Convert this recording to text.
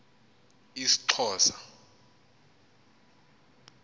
isxhosa